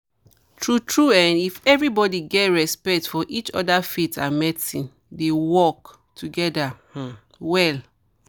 true true[um]if everybody get respect for each other faith and medicine dey work together um well